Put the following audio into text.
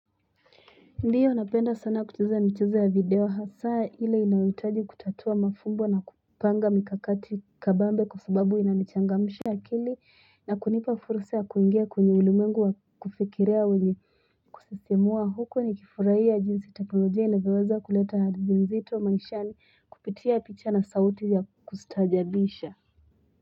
Ndiyo napenda sana kucheza michezo ya video hasaa ile inayohitaji kutatua mafumbo na kupanga mikakati kabambe kwa sababu inanichangamsha akili na kunipa fursa ya kuingia kwenye ulimwengu wa kufikiria wenye kusisimua huku nikifurahia jinsi teknolojia inavyoweza kuleta hadhi zito maishani kupitia picha na sauti ya kustaajabisha.